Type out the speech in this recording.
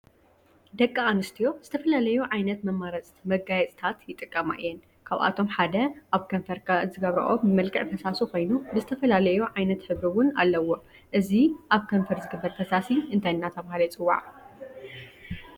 ደቂ አንስትዮ ዝተፈላለዩ ዓይነት ማጋየፂታት ይጥቀማ እዩን ካብአቶም ሓደ አብ ከንፈርካ ዝግበሮኦ ብመልክዕ ፈሳሲ ኮይኑ ብዝተፈላለዩ ዓይነት ሕብሪ እውን አለዎ። እዚ አብ ከነፈር ዝግበር ፈሳሲ እንታይ እናተባህለ ይፅዋዕ?